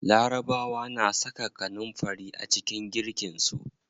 Larabawa na saka kanunfari a cikin girkin su.